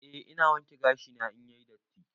Eh ina wanke gashi na in yayi datti.